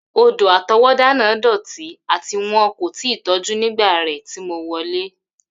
Odò-àtọwọ́dá náà dọti ati won ko ti tọju nígbà rẹ ti mo wọlẹ́.